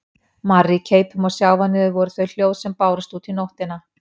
Marr í keipum og sjávarniður voru þau hljóð sem bárust út í nóttina.